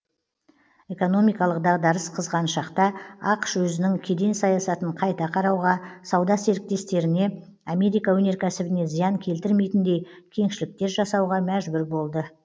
экономикалық дағдарыс қызған шақта ақш өзінің кеден саясатын қайта қарауға сауда серіктестеріне америка өнеркәсібіне зиян келтірмейтіндей кеңшіліктер жасауға мәжбүр болды